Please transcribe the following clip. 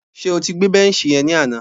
Ṣé o ti gbé bẹ́nṣì yẹn ni àná?